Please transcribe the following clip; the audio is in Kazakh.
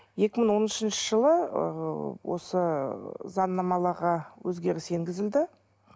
екі мың он үшінші жылы ыыы осы заңнамаға өзгеріс енгізілді